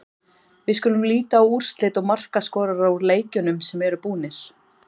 Við skulum líta á úrslit og markaskorara úr leikjunum sem eru búnir.